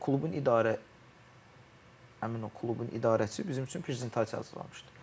Klubun idarə Həmin o klubun idarəçisi bizim üçün prezentasiya hazırlamışdı.